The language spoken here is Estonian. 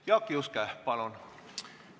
Jaak Juske, palun!